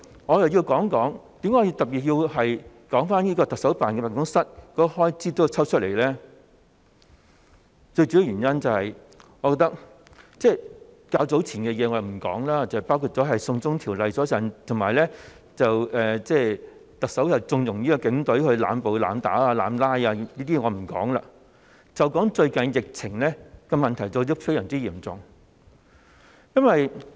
我想特別談及為何要將行政長官辦公室的開支撥款抽起，我不說較早前的事情，包括"送中條例"及特首縱容警隊濫捕、濫打的問題，就只談最近疫情非常嚴重的問題。